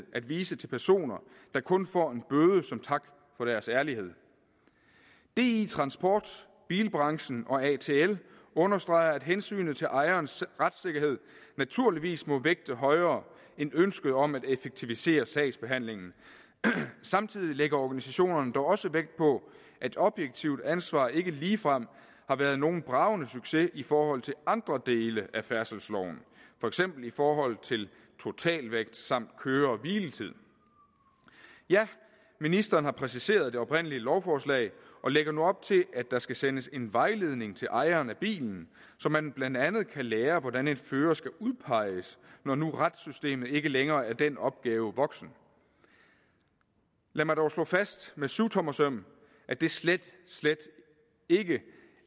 at vise til personer der kun får en bøde som tak for deres ærlighed di transport bilbranchen og atl understreger at hensynet til ejerens retssikkerhed naturligvis må vægtes højere end ønsket om at effektivisere sagsbehandlingen samtidig lægger organisationerne dog også vægt på at objektivt ansvar ikke ligefrem har været nogen bragende succes i forhold til andre dele af færdselsloven for eksempel i forhold til totalvægt samt køre hvile tid ja ministeren har præciseret det oprindelige lovforslag og lægger nu op til at der skal sendes en vejledning til ejeren af bilen så man blandt andet kan lære hvordan en fører skal udpeges når nu retssystemet ikke længere er den opgave voksen lad mig dog slå fast med syvtommersøm at det slet slet ikke